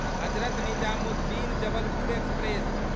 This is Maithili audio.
हजरत निजामुद्दीन जबलपुर एक्सप्रेस